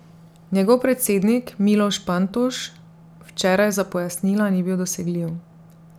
Njegov predsednik Miloš Pantoš včeraj za pojasnila ni bil dosegljiv.